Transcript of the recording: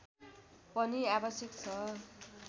पनि आवश्यक छ